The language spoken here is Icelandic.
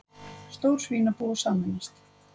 Stór svínabú að sameinast